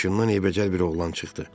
Maşından eybəcər bir oğlan çıxdı.